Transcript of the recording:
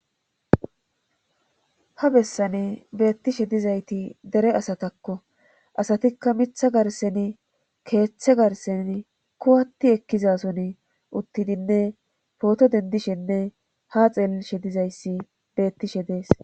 Ha bessane beettishe dizayti dere asatakko asatikka mitha garsen keeththe garsen kuwatti ekkizason uttidinne pooto dendishenne ha xeellishe dizayssi beettishe dees.